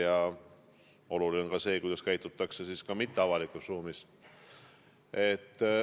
Ja oluline on ka see, kuidas käitutakse mitteavalikus ruumis.